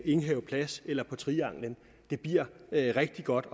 enghave plads eller på trianglen det bliver rigtig godt